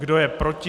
Kdo je proti?